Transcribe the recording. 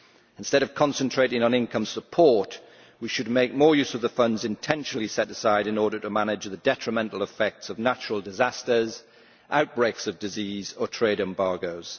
Instead of concentrating on income support, we should make more use of the funds intentionally set aside in order to manage the detrimental effects of natural disasters, outbreaks of disease or trade embargoes.